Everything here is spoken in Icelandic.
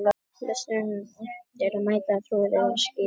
Lesendum er eftirlátið að meta trúverðugleika þessarar skýringar.